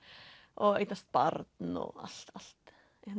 og eignast barn og allt allt